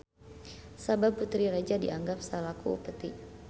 Sabab putri raja dianggap salaku upeti.